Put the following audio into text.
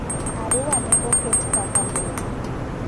Arua ne oket kaka Boma.